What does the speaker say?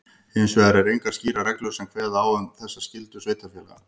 Hins vegar eru engar skýrar reglur sem kveða á um þessa skyldu sveitarfélaga.